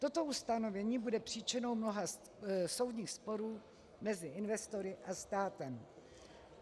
Toto ustanovení bude příčinou mnoha soudních sporů mezi investory a státem.